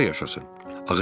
Bəs harda yaşasın?